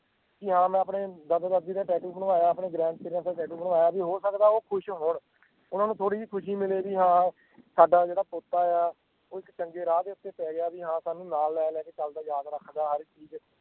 ਕੀ ਹਾਂ ਮੈਂ ਆਪਣੇ ਦਾਦਾ ਦਾਦੀ ਦਾ tattoo ਬਣਵਾਇਆ ਆ ਆਪਣੇ grandparents ਦਾ tattoo ਬਣਵਾਇਆ ਵੀ ਹੋ ਸਕਦਾ ਵੀ ਉਹ ਖੁਸ਼ ਹੋਣ ਓਹਨਾ ਨੂੰ ਥੋੜੀ ਜੀ ਖੁਸ਼ੀ ਮਿਲੇ ਵੀ ਹਾਂ ਸਾਡਾ ਜਿਹੜਾ ਪੋਤਾ ਆ ਉਹ ਇੱਕ ਚੰਗੇ ਰਾਹ ਦੇ ਉੱਤੇ ਪੈ ਗਿਆ ਵੀ ਹਾਂ ਸਾਨੂੰ ਨਾਲ ਲੈ ਲੈ ਕੇ ਚਲਦਾ ਆ ਯਾਦ ਰੱਖਦਾ ਆ ਹਰ ਇੱਕ ਚੀਜ਼